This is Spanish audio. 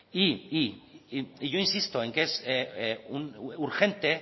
y yo insisto en que es urgente